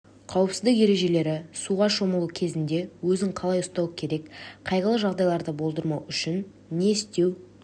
қауіпсіздік ережелері суға шомылу кезінде өзін қалай ұстау керек қайғылы жағдайларды болдырмау үшін не істеу